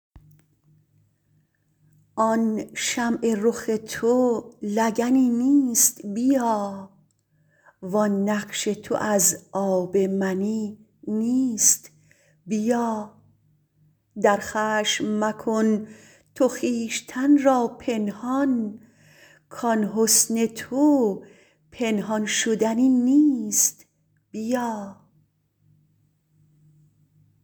آن شمع رخ تو لگنی نیست بیا وان نقش تو از آب منی نیست بیا در خشم مکن تو خویشتن را پنهان کان حسن تو پنهان شدنی نیست بیا